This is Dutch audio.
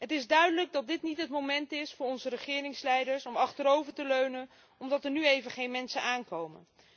Het is duidelijk dat dit niet het moment is voor onze regeringsleiders om achterover te leunen omdat er nu even geen mensen aankomen.